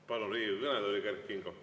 Palun Riigikogu kõnetooli Kert Kingo.